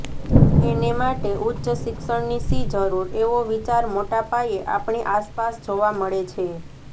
એને માટે ઉચ્ચ શિક્ષણની શી જરૂર એવો વિચાર મોટાપાયે આપણી આસપાસ જોવા મળે છે